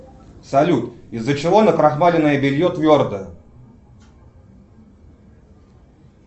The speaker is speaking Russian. салют из за чего накрахмаленное белье твердое